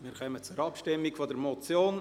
Wir kommen zur Abstimmung über die Motion.